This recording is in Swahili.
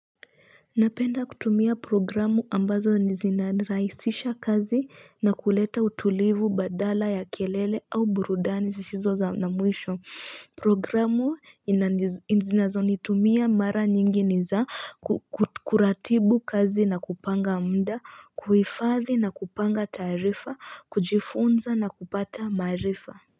Napenda kutumia programu ambazo zina rahisisha kazi na kuleta utulivu badala ya kelele au burudani sisizo za na mwisho programu ninazoitumia mara nyingi niza kuratibu kazi na kupanga muda kuhifadhi na kupanga taarifa kujifunza na kupata maarifa.